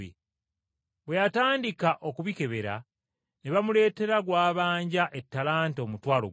Bwe yatandika okubikebera ne bamuleetera gw’abanja ettalanta omutwalo gumu.